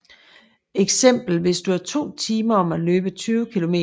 Eksempel hvis du er 2 timer om at løbe 20 km